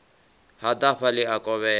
ḓa hafha ḽi a kovhela